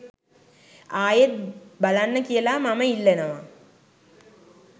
ආයෙත් බලන්න කියලා මම ඉල්ලනවා